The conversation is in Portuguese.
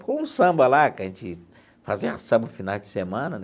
Ficou um samba lá, que a gente fazia samba finais de semana né.